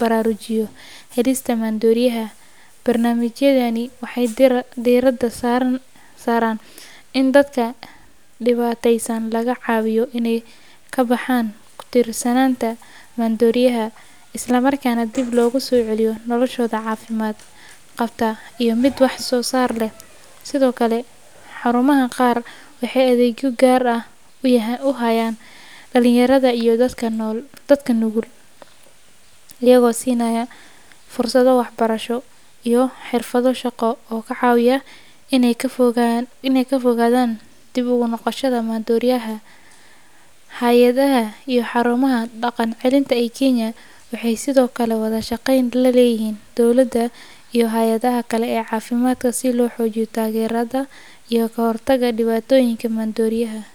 baraarujiyo halista maandooriyaha. Barnaamijyadani waxay diiradda saaraan in dadka dhibaataysan laga caawiyo inay ka baxaan ku tiirsanaanta maandooriyaha, isla markaana dib loogu soo celiyo noloshooda caafimaad qabta iyo mid wax soo saar leh. Sidoo kale, xarumaha qaar waxay adeegyo gaar ah u hayaan dhalinyarada iyo dadka nugul, iyagoo siinaya fursado waxbarasho iyo xirfado shaqo oo ka caawiya inay ka fogaadaan dib ugu noqoshada maandooriyaha. Hay’adaha iyo xarumaha daqan celinta ee Kenya waxay sidoo kale wada shaqeyn la leeyihiin dowlada iyo hay’adaha kale ee caafimaadka si loo xoojiyo taageerada iyo ka hortagga dhibaatooyinka maandooriyaha.